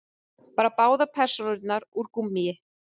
Bara báðar persónurnar úr gúmmíi.